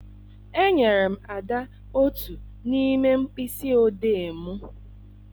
Enyere m Ada otu n'ime mkpịsị odee m.